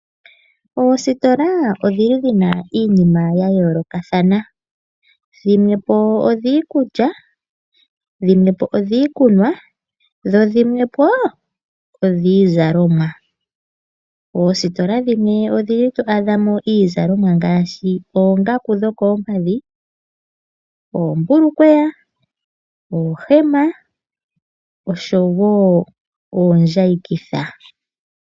Oositola odhili dhina iinima ya yolokathana, dhimwe po odhiikulya, dhimwe po odhiikunwa, dho dhimwe po odhiizalomwa. Oositola dhimwe odhili to adhamo iizalomwa ngaashi oongaku dhokoompadhi, oombukweya ,oohema oshowo oondjayikitha.